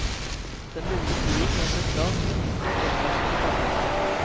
Den lille byen gjør seg klar til å motta tilreisende badegjester.